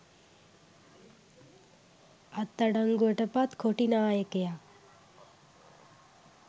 අත්අඩංගුවට පත් කොටි නායකයා